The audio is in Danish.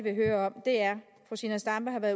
er